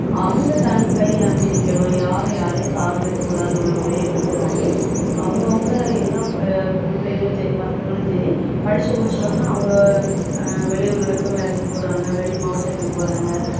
அவங்க தன் கையை நம்பி நிக்கணும் யாரும் யாரையும் சார்ந்து இருக்கக்கூடாதுன்னு உள்ள ஒரே எண்ணத்துக்காண்டி அவுங்க அவுங்க எல்லா பொ~ பொம்பளைப் பிள்ளைகளும் சரி பசங்களும் சரி படிச்சு முடிச்சவுடனே அவங்க அஹ் வெளியூர்களுக்கும் வேலைக்குப் போறாங்க வெளி மாவட்டத்துக்குப் போறாங்க